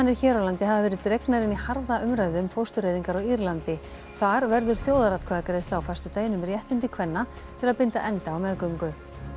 hér á landi hafa verið dregnar inn í harða umræðu um fóstureyðingar á Írlandi þar verður þjóðaratkvæðagreiðsla á föstudaginn um réttindi kvenna til að binda enda á meðgöngu